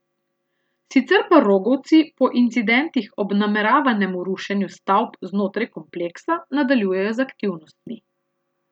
Sicer pa rogovci po incidentih ob nameravanemu rušenju stavb znotraj kompleksa nadaljujejo z aktivnostmi.